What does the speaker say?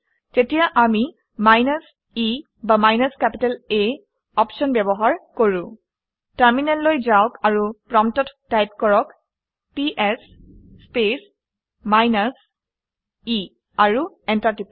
তেতিয়া আমি minus e বা মাইনাছ কেপিটেল A আপশ্যন ব্যৱহাৰ কৰোঁ। টাৰমিনেললৈ যাওক আৰু প্ৰম্পটত টাইপ কৰক - পিএছ স্পেচ মাইনাছ e আৰু এণ্টাৰ টিপি দিয়ক